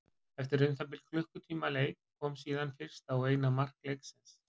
Eftir um það bil klukkutíma leik kom síðan fyrsta og eina mark leiksins.